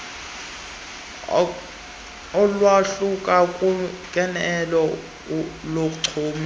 olwahluka hlukeneyo lochumiso